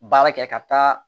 Baara kɛ ka taa